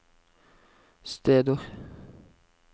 steder